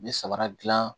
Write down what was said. N bɛ sabara gilan